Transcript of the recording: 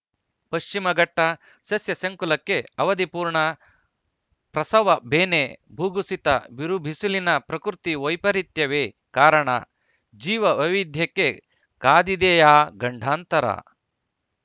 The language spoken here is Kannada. ಪಶ್ಚಿಮಘಟ್ಟಸಸ್ಯಸಂಕುಲಕ್ಕೆ ಅವಧಿಪೂರ್ಣ ಪ್ರಸವ ಬೇನೆ ಭೂಕುಸಿತಬಿರುಬಿಸಿಲಿನ ಪ್ರಕೃತಿ ವೈಪರೀತ್ಯವೇ ಕಾರಣ ಜೀವ ವೈವಿಧ್ಯಕ್ಕೆ ಕಾದಿದೆಯಾ ಗಂಡಾಂತರ